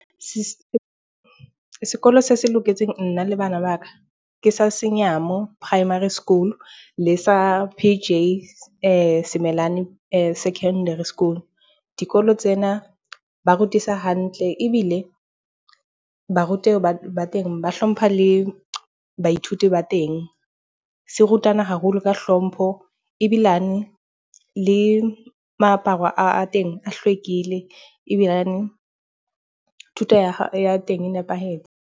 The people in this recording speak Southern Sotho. Se sekolo se loketseng nna le bana ba ka ke sa Senyama Primary School, le P_J Semelani Secondary School. Dikolo tsena ba rutisa hantle ebile barutehi ba teng ba hlompha le baithuti ba teng. Se rutana haholo ka hlompho ebilane le moaparo a teng a hlwekile. Ebilane thuto ya ya teng e nepahetse.